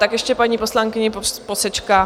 Tak ještě paní poslankyně posečká.